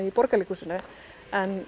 í Borgarleikhúsinu en